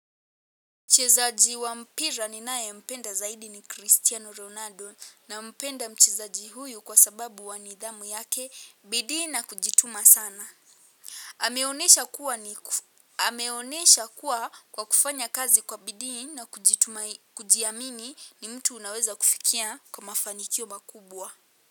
Mchezaji wa mpira ninae mpenda zaidi ni Cristiano Ronaldo nampenda mchezaji huyu kwa sababu wa nidhamu yake bidii na kujituma sana. Ameonesha kuwa kwa kufanya kazi kwa bidii na kujiamini ni mtu unaweza kufikia kwa mafanikio makubwa.